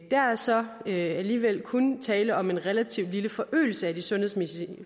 er så alligevel kun tale om en relativt lille forøgelse af de sundhedsmæssige